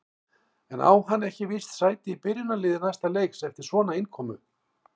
En á hann ekki víst sæti í byrjunarliði næsta leiks eftir svona innkomu?